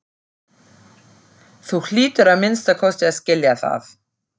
Þú hlýtur að minnsta kosti að skilja það.